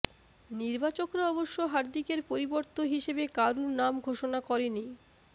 নির্বাচকরা অবশ্য হার্দিকের পরিবর্ত হিসেবে কারুর নাম ঘোষণা করেনি